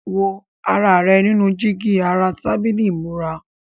Wo ara rẹ nínú jígí ara tábìlì ìmúra.